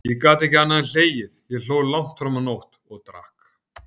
Ég gat ekki annað en hlegið, ég hló langt fram á nótt, og drakk.